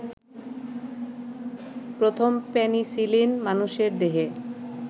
প্রথম পেনিসিলিন মানুষের দেহে